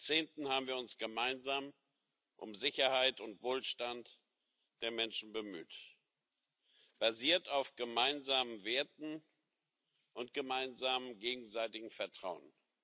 Seit Jahrzehnten haben wir uns gemeinsam um Sicherheit und Wohlstand der Menschen bemüht, basiert auf gemeinsamen Werten und gemeinsamem gegenseitigem Vertrauen.